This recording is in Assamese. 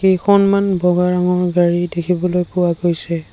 কেইখনমান বগা ৰঙৰ গাড়ী দেখিবলৈ পোৱা গৈছে।